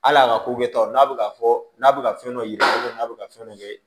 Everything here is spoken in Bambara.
Hali a ka ko kɛ taw n'a bɛ ka fɔ n'a bɛ ka fɛn dɔ yira n'a bɛ ka fɛn dɔ kɛ